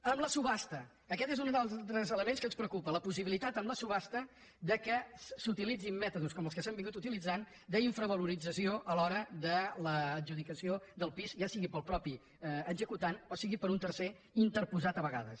amb la subhasta aquest és un dels altres elements que ens preocupa la possibilitat amb la subhasta que s’utilitzin mètodes com els que s’han estat utilitzant d’infravaloració a l’hora de l’adjudicació del pis ja sigui pel mateix executant o sigui per un tercer interposat a vegades